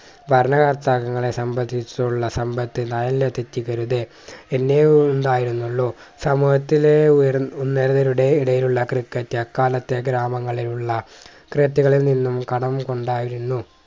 ഭരണ കർത്താക്കങ്ങളെ സംബന്ധിച്ചുള്ള സമ്പത്ത് എത്തിക്കരുത് എന്നെ ഉണ്ടായിരുന്നുള്ളു സമൂഹത്തിലെ ഉയർ ഉന്നതരുടെ ഇടയിലുള്ള ക്രിക്കറ്റ് അക്കാലത്തെ ഗ്രാമങ്ങളിലുള്ള ക്രിക്കറ്റുകളിൽ നിന്നും കടം കൊണ്ടായിരുന്നു